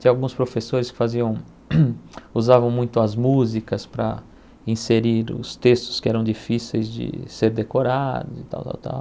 Tinha alguns professores que faziam, usavam muito as músicas para inserir os textos que eram difíceis de ser decorados e tal, tal, tal.